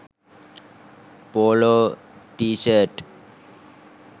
polo tshirt